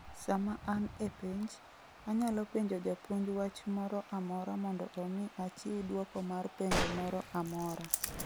Sama an e penj, anyalo penjo japuonj wach moro amora mondo omi achiw dwoko mar penjo moro amora.